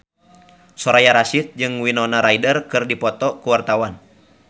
Soraya Rasyid jeung Winona Ryder keur dipoto ku wartawan